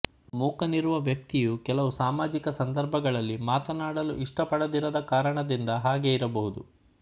ಮೂಕನಿರುವ ವ್ಯಕ್ತಿಯು ಕೆಲವು ಸಾಮಾಜಿಕ ಸಂದರ್ಭಗಳಲ್ಲಿ ಮಾತನಾಡಲು ಇಷ್ಟಪಡದಿರದ ಕಾರಣದಿಂದ ಹಾಗೆ ಇರಬಹುದು